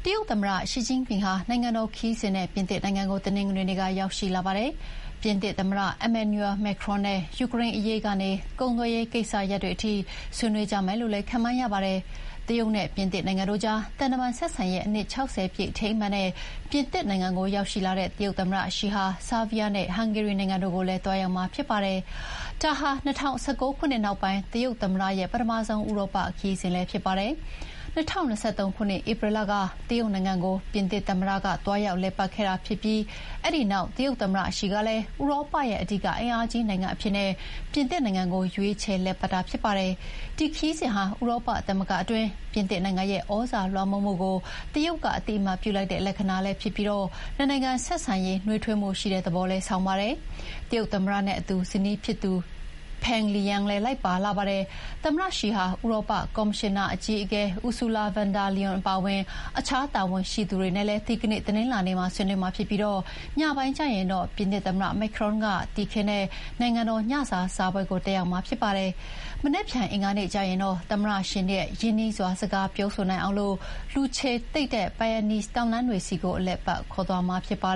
တရုတ်သမ္မတ ရှီကျင့်ဖျင်ဟာ နိုင်ငံတော်ခရီးစဥ်နဲ့ ပြင်သစ်နိုင်ငံကို တနင်္ဂနွေနေ့က ရောက်ရှိပါတယ်။ ပြင်သစ်သမ္မတ Emmanuel Macron နဲ့ ယူကရိန်းအရေးကနေ ကုန်သွယ်ရေးကိစ္စရပ်တွေထိ ဆွေးနွေးကြမယ်လို့ ခန့်မှန်းရပါတယ်။ တရုတ်နဲ့ပြင်သစ်နိုင်ငံတို့ကြား သံတမန်ဆက်ဆံရေးအနှစ် ၆၀ ပြည့်အထိမ်းအမှတ်နဲ့ ပြင်သစ်နိုင်ငံကိုရောက်ရှိလာတဲ့ တရုတ်သမ္မတရှီဟာ ဆားဗီးယားနဲ့ ဟန်ဂေရီနိုင်ငံတို့ကိုလည်း သွားရောက်မှာဖြစ်ပါတယ်။ ဒါဟာ ၂၀၁၉ ခုနှစ်နောက်ပိုင်း တရုတ်သမ္မတရဲ့ ပထမဆုံး ဥရောပခရီးစဥ်လည်းဖြစ်ပါတယ်။ ၂၀၂၃ ခုနှစ်ဧပြီလက တရုတ်နိုင်ငံကို ပြင်သစ်သမ္မတသွားရောက်လည်ပတ်ခဲ့ပြီးတဲ့နောက် တရုတ်သမ္မတရှီကလည်း ဥရောပရဲ့ အဓိကအင်အားကြီးနိုင်ငံအဖြစ် ပြင်သစ်နိုင်ငံရွေးချယ်လည်ပတ်တာဖြစ်ပါတယ်။ဒီခရီးစဥ်ဟာ ဥရောပသမဂ္ဂတွင်း ပြင်သစ်နိုင်ငံရဲ့ သြဇာလွှမ်းမိုးမှုကို တရုတ်က အသိအမှတ်ပြုလိုက်တဲ့လက္ခဏာလည်းဖြစ်ပြီး နှစ်နိုင်ငံဆက်ဆံရေးနွေးထွေးမှု ရှိတဲ့သဘောလည်း ဆောင်ပါတယ်။ တရုတ်သမ္မတနဲ့အတူ ဇနီးဖြစ်သူ Peng Liyuan လည်းလိုက်ပါလာပါတယ်။ သမ္မတရှီဟာ ဥရောပကော်မရှင်အကြီးအကဲ Ursula von der Leyen အပါအဝင် အခြားတာဝန်ရှိသူတွေနဲ့လည်း ဒီကနေ့တနင်္လာနေ့မှာဆွေးနွေးမှာဖြစ်ပြီး ညပိုင်းကျရင်တော့ ပြင်သစ်သမ္မတ Macron က နိုင်ငံတော်ညစာစားပွဲနဲ့ တည်ခင်းဧည့်ခံမှာဖြစ်ပါတယ်။ မနက်ဖြန်အင်္ဂါနေ့ကျရင်တော့ သမ္မတရှီနဲ့ ရင်းနှီးစွာ စကားပြောနိုင်အောင် လူခြေတိတ်တဲ့ Pyrenes တောင်တန်းတွေဆီအလည်အပတ်ခေါ်သွားမှာပါ